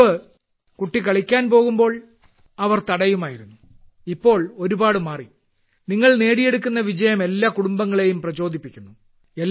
മുമ്പ് കുട്ടി കളിക്കാൻ പോകുമ്പോൾ അവർ തടയുമായിരുന്നു ഇപ്പോൾ ഒരുപാട് മാറി നിങ്ങൾ നേടിയെടുക്കുന്ന വിജയം എല്ലാ കുടുംബങ്ങളെയും പ്രചോദിപ്പിക്കുന്നു